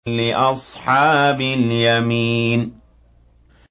لِّأَصْحَابِ الْيَمِينِ